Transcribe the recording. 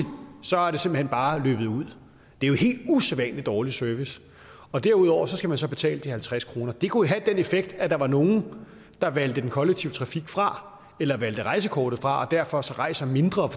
bare løbet ud det er jo helt usædvanlig dårlig service og derudover skal man så betale de halvtreds kroner det kunne jo have den effekt at der var nogle der valgte den kollektive trafik fra eller valgte rejsekortet fra og derfor også rejste mindre